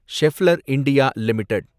Schaeffler India limited